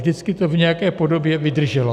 Vždycky to v nějaké podobě vydrželo.